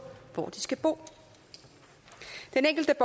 hvor de skal bo den enkelte